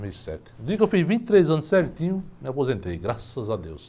dois mil e sete. No dia que eu fiz vinte e três anos certinho, me aposentei, graças a Deus.